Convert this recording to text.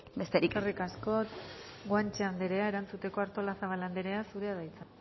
besterik gabe eskerrik asko guanche andrea erantzuteko artolazabal anderea zurea da hitza